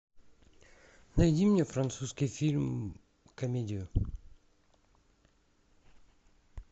найди мне французский фильм комедию